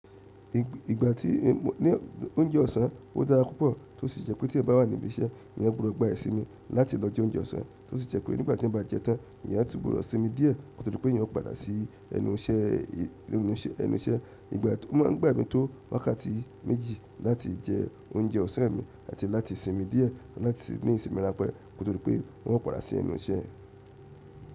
Ìgbà tí mo ní oúnjẹ ọ̀sán, ó dára púpọ̀ tó sì ṣe pé tí ẹ bá wà ní ibi iṣẹ́, ìyẹn gbọ́dọ̀ gba ìsinmi láti lọ jẹ oúnjẹ ọ̀sán tó sì ṣe pé nígbà tí mo bá jẹ tán, ìyẹn á tún gbọ́dọ̀ sinmi díẹ̀ nítorí pé ìyẹn ó padà sí ẹnu iṣẹ́. Ìgbà tí ó máa ń gba mi tó wákàtí méjì láti jẹ oúnjẹ ọ̀sán mi àti láti sinmi díẹ̀ láti ní ìsinmi ráńpẹ́ kotodí pé wọ́n padà sí ẹnu iṣẹ́.